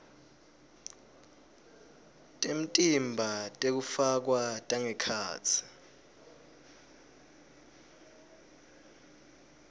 temtimba tekufakwa tangekhatsi